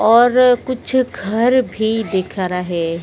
और कुछ घर भी दिख रहे--